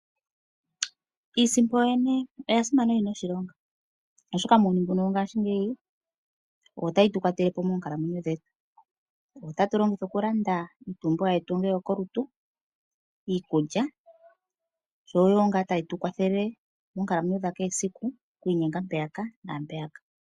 Iisimpo oya simana na oyina oshilonga oshoka muuyuni mbu wo ngaashingeyi oyo tayi tu kwatelepo monkalamwenyo dhetu. Oyo ta tu longitha oku landa iipumbiwa yetu yo ko lutu , iikulya yo oyo ngaa tayi tu kwathele mokukalamwenyo kwa kehe esiku oku inyenga mpeya naampeyaka.